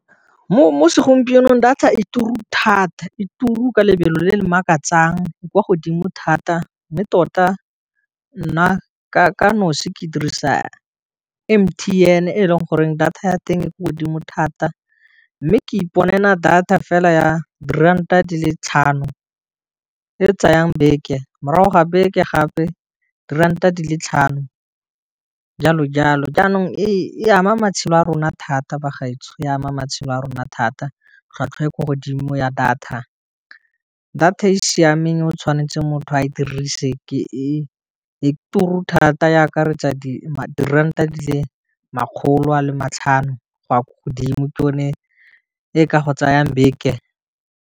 Mo segompienong data e turu thata e turu lebelo le le makatsang kwa godimo thata, mme tota nna ka nosi ke dirisa M_T_N e leng goreng data ya teng e ko godimo thata, mme ke iponela data fela ya diranta di le tlhano e tsayang beke morago ga beke gape diranta di le tlhano jalo jalo, jaanong e ama matshelo a rona thata ba gaetsho e ama matshelo a rona thata, tlhwatlhwa e ko godimo ya data, data e siameng o tshwanetse motho a dirise ke e turu thata e akaretsa diranta di le makgolo a le matlhano go ya ko godimo ke yone e ka go tsayang beke.